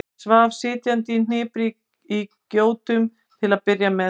Hann svaf sitjandi í hnipri í gjótum til að byrja með.